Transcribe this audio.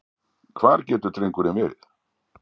Hvar getur drengurinn verið?